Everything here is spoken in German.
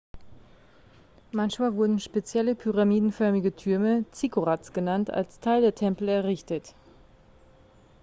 manchmal wurden spezielle pyramidenförmige türme zikkurats genannt als teil der tempel errichtet